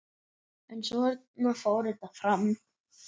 En svona fór þetta bara.